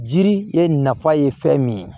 Jiri ye nafa ye fɛn min ye